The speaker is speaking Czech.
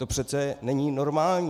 To přece není normální.